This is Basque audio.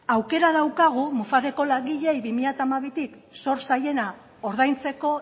aukera daukagu mufaceko langileei bi mila hamabitik zor zaiena ordaintzeko